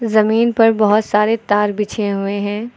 जमीन पर बहुत सारे तार बिछे हुए हैं।